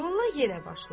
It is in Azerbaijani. Molla yenə başladı.